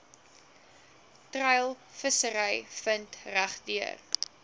treilvissery vind regdeur